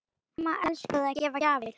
Amma elskaði að gefa gjafir.